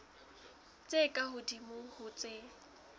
tse ka hodimo ho tse